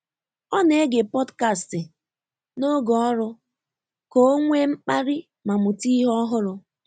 Ọ́ nà-égé pọ́dkástị̀ n’ógè ọ́rụ́ kà ọ́ nwèé mkpàlí mà mụ̀tá ìhè ọ́hụ́rụ́.